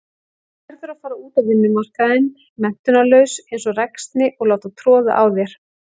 Verður að fara út á vinnumarkaðinn menntunarlaus einsog ræksni og láta troða á þér.